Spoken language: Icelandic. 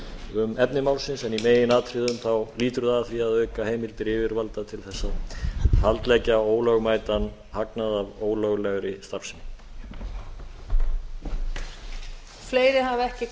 um efni málsins en í meginatriðum lýtur það að því að auka heimildir yfirvalda til að haldleggja ólögmætan hagnað af ólöglegri starfsemi